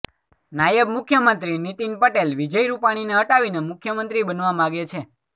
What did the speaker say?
નાયબ મુખ્યમંત્રી નીતિન પટેલ વિજય રૂપાણીને હટાવીને મુખ્યમંત્રી બનવા માગે છે